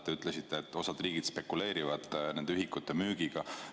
Te ütlesite, et osa riike spekuleerivad nende ühikute müügiga.